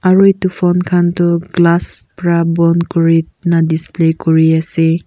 aru itu phone khan tu glass pra bon kurina display kuri ase.